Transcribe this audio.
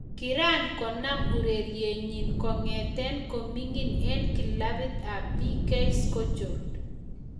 Kiran konam urerenenyin kong'eten koming'in en kilabit ab BK skjold.